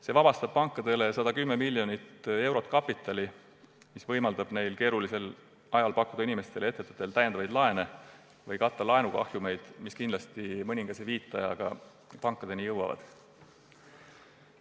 See vabastab pankade jaoks 110 miljonit eurot kapitali, mis võimaldab neil keerulisel ajal pakkuda inimestele ja ettevõtetele täiendavaid laene või katta laenukahjumeid, mis mõningase viiteajaga kindlasti pankadeni jõuavad.